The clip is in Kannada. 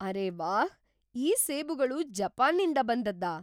ಅರೇ ವಾಹ್! ಈ ಸೇಬುಗಳು ಜಪಾನ್ನಿಂದ ಬಂದದ್ದಾ?